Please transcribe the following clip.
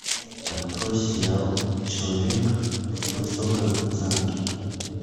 открой сериал человек в высоком замке